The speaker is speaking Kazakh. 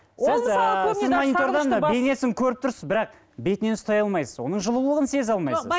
бейнесін көріп тұрсыз бірақ бетінен ұстай алмайсыз оның жылулығын сезе алмайсыз